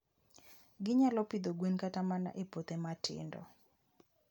Ginyalo pidho gwen kata mana e puothe matindo.